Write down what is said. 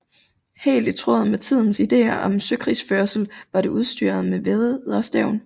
Helt i tråd med tidens ideer om søkrigsførelse var det udstyret med vædderstævn